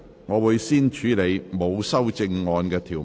我會先處理沒有修正案的條文。